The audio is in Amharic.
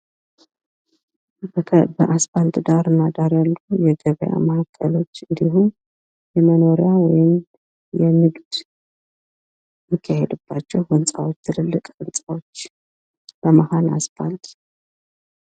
በአስፓልት ዳርና ዳር ያሉ የገበያ ማእከሎች እንዲሁም የመኖሪያ ወይም ንግድ የሚካሄድባቸው ትልልቅ ህንጻዎች እና መሃል ላይ አስፖልት ይታያል።